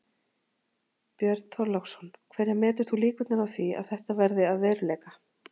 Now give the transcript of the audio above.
Björn Þorláksson: Hverjar metur þú líkurnar á því að þetta verði að veruleika?